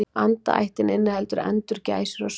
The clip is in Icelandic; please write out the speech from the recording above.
Andaættin inniheldur endur, gæsir og svani.